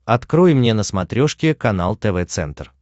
открой мне на смотрешке канал тв центр